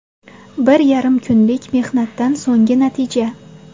Bir yarim kunlik mehnatdan so‘nggi natija”.